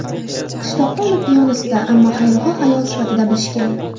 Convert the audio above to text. Qishloqda uni piyonista, ammo xayrixoh ayol sifatida bilishgan.